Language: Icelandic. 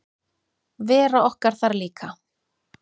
Vera okkar þar líka.